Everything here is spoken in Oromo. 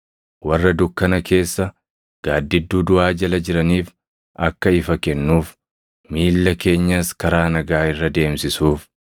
warra dukkana keessa, gaaddidduu duʼaa jala jiraniif akka ifa kennuuf; miilla keenyas karaa nagaa irra deemsisuuf.”